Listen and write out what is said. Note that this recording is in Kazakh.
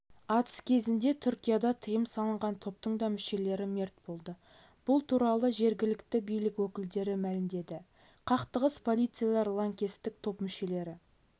атыс кезінде түркияда тыйым салынған топтың да мүшелері мерт болды бұл туралы жергілікті билік өкілдері мәлімдеді қақтығыс полицейлер лаңкестік топ мүшелері